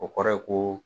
O kɔrɔ ye ko